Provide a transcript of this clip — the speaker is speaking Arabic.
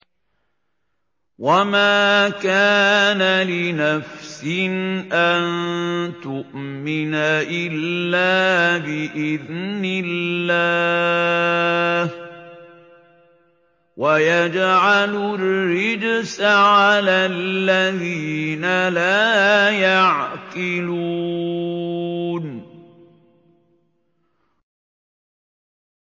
وَمَا كَانَ لِنَفْسٍ أَن تُؤْمِنَ إِلَّا بِإِذْنِ اللَّهِ ۚ وَيَجْعَلُ الرِّجْسَ عَلَى الَّذِينَ لَا يَعْقِلُونَ